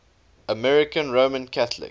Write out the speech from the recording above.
american roman catholic